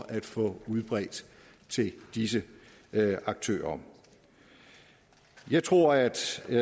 at få udbredt til disse aktører jeg tror at